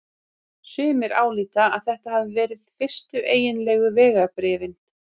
Sumir álíta að þetta hafi verið fyrstu eiginlegu vegabréfin.